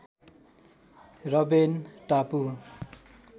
Robben टापु